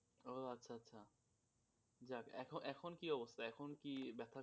ও আচ্ছা আচ্ছা যাক এখন কি অবস্থা এখন কি ব্যাথা,